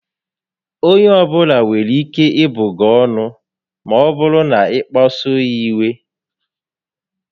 Onye ọbula nwere ike ịbụ gị ọnụ maọbụrụ na ị kpasuo ya iwe